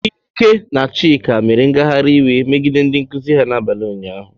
Ike na Chika, mere ngagharị iwe megide ndị nkuzi ha n'abalị ụnyahụ.